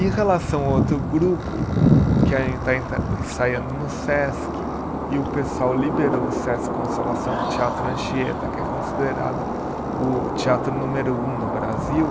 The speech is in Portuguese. Em relação ao outro grupo que ainda está ensaiando no Sesc e o pessoal liberou o Sesc Consolação Teatro Anchieta, que é considerado o teatro número um do Brasil,